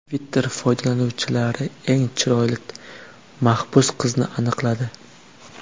Twitter foydalanuvchilari eng chiroyli mahbus qizni aniqladi.